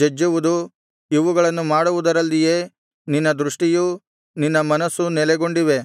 ಜಜ್ಜುವುದು ಇವುಗಳನ್ನು ಮಾಡುವುದರಲ್ಲಿಯೇ ನಿನ್ನ ದೃಷ್ಟಿಯೂ ನಿನ್ನ ಮನಸ್ಸೂ ನೆಲೆಗೊಂಡಿವೆ